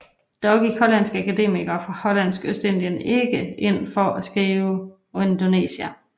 Dog gik hollandske akademikere fra Hollandsk Ostindien ikke ind for at skrive Indonesia